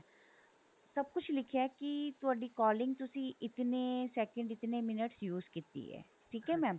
ਸਭ ਕੁੱਝ ਲਿਖਿਆ ਕੀ ਤੁਹਾਡੀ calling ਤੁਸੀਂ ਇਤਨੇ second ਇਤਨੇ minutes use ਕੀਤੀ ਏ ਠੀਕ ਏ mam